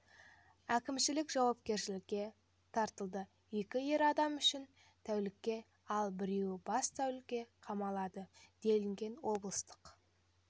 әкімшілік жауапкершілікке тартылды екі ер адам үш тәулікке ал біреуі бес тәулікке қамалады делінген облыстық